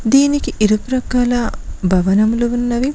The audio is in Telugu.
దీనికి ఇరు ప్రక్కల భవనంలు ఉన్నవి.